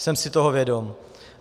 Jsem si toho vědom.